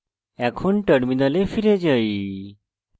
এখন terminal ফিরে যাই